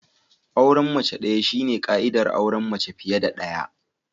Auren mace daya shine ka'idar auren mace fiye da daya.